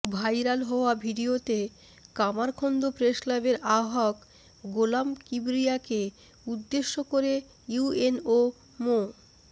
viral হওয়া ভিডিওতে কামারখন্দ প্রেসক্লাবের আহ্বায়ক গোলাম কিবরিয়াকে উদ্দেশ করে ইউএনও মো